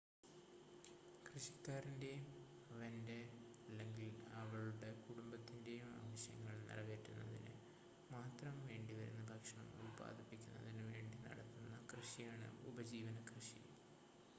കൃഷിക്കാരന്റെയും അവന്റെ/അവളുടെ കുടുംബത്തിന്റെയും ആവശ്യങ്ങൾ നിറവേറ്റുന്നതിന് മാത്രം വേണ്ടിവരുന്ന ഭക്ഷണം ഉൽപാദിപ്പിക്കുന്നതിന് വേണ്ടി നടത്തുന്ന കൃഷിയാണ് ഉപജീവന കൃഷി